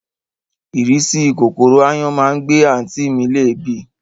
Ìrísí kòkòrò ááyán má ń gbé àǹtí mi léèébì